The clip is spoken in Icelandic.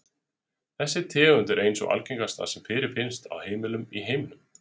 Þessi tegund er ein sú algengasta sem fyrirfinnst á heimilum í heiminum.